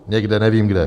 Někde, nevím kde.